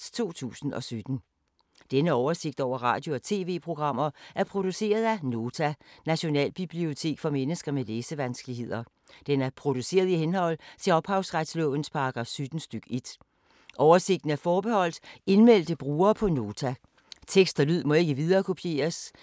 Denne oversigt over radio og TV-programmer er produceret af Nota, Nationalbibliotek for mennesker med læsevanskeligheder. Den er produceret i henhold til ophavsretslovens paragraf 17 stk. 1. Oversigten er forbeholdt indmeldte brugere på Nota. Tekst og lyd må ikke viderekopieres. Misbrug kan medføre udelukkelse fra at bruge Notas ydelser.